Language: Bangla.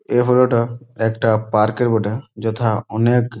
এই হলো তা একটা পার্ক বটে যথা অনেক।